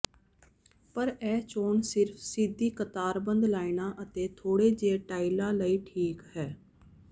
ਪਰ ਇਹ ਚੋਣ ਸਿਰਫ ਸਿੱਧੀ ਕਤਾਰਬੱਧ ਲਾਈਨਾਂ ਅਤੇ ਥੋੜੇ ਜਿਹੇ ਟਾਈਲਾਂ ਲਈ ਠੀਕ ਹੈ